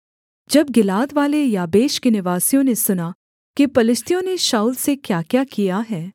जब गिलादवाले याबेश के निवासियों ने सुना कि पलिश्तियों ने शाऊल से क्याक्या किया है